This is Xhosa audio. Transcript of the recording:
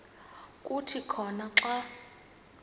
kuthi khona xa